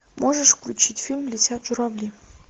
можешь включить фильм летят журавли